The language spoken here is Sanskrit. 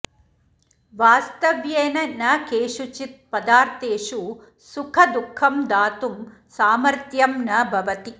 वास्तव्येन न केषुचित् पदार्थेषु सुखदुःखं दातुं सामर्थ्यं न भवति